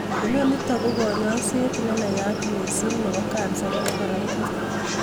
Inonitok ko konyoiset nenayat missing nebo kansa nebo korotik